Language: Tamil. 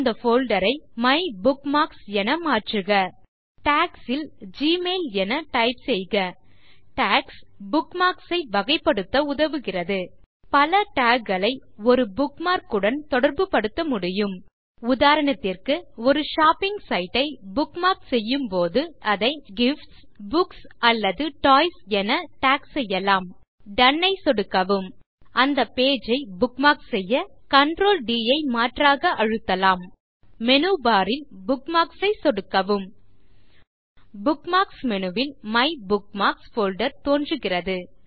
அந்த போல்டர் ஐMyBookmarks என மாற்றுக டாக்ஸ் ல் எமெயில் என டைப் செய்க டாக்ஸ் புக்மார்க்ஸ் ஐ வகைப்படுத்த உதவுகிறது பல டாக் களை ஒரு புக்மார்க் உடன் தொடர்புபடுத்த முடியும் உதாரணத்திற்கு ஒரு ஷாப்பிங் சைட் ஐ புக்மார்க் செய்யும் போது நீங்கள் அதை கிஃப்ட்ஸ் புக்ஸ் அல்லது டாய்ஸ் என டாக் செய்யலாம் டோன் ஐ சொடுக்கவும் அந்த பேஜ் ஐ புக்மார்க் செய்யCTRL ட் ஐ மாற்றாக அழுத்தலாம் மேனு பார் ல் புக்மார்க்ஸ் ஐ சொடுக்கவும் புக்மார்க்ஸ் மேனு ல் மைபுக்மார்க்ஸ் போல்டர் தோன்றுகிறது